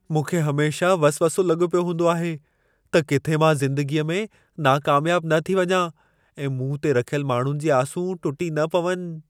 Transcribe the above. मूंखे हमेशह वसवसो लॻो पियो हूंदो आहे, त किथे मां ज़िंदगीअ में नाकामयाब न थी वञा ऐं मूं ते रखियल माण्हुनि जी आसूं टुटी न पवनि।